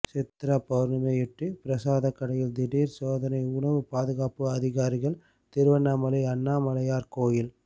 சித்ரா பவுர்ணமியையொட்டி பிரசாத கடையில் திடீர் சோதனை உணவு பாதுகாப்பு அதிகாரிகள் திருவண்ணாமலை அண்ணாமலையார் கோயில்